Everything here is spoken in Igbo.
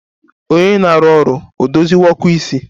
Onye na-arụ ọrụ edoziwo ọkụ isi?